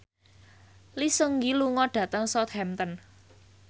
Lee Seung Gi lunga dhateng Southampton